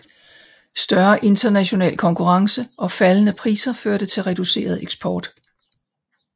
Større international konkurrence og faldende priser førte til reduceret eksport